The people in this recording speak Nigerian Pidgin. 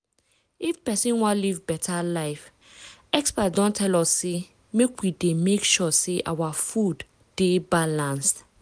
if persin wan live beta life experts don tell us say make we dey make sure say our food dey balanced.